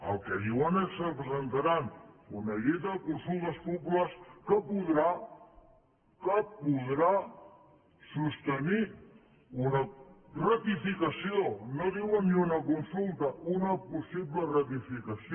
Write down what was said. el que diuen és que presentaran una llei de consultes populars que podrà que podrà sostenir una ratificació no diuen ni una consulta una possible ratificació